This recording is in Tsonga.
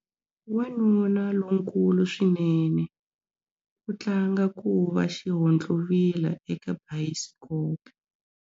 Wanuna lonkulu swinene u tlanga ku va xihontlovila eka bayisikopo.